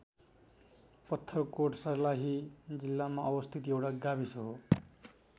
पत्थरकोट सर्लाही जिल्लामा अवस्थित एउटा गाविस हो।